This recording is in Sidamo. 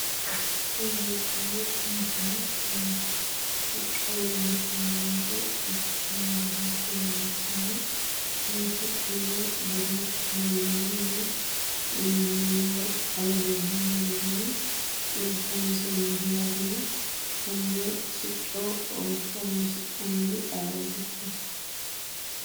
Tini leeltanno misile sicco leellishshano yaate. Sicconna badooshshe leellishshano. Kuni siccunna badooshshu leellannohu mannaho xawe leellanno garinni kayinsoonniho yaatena konne sicco horoonsidhannori ayiootikka?